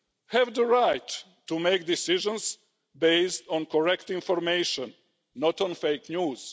have the right to make decisions based on correct information, not on fake news.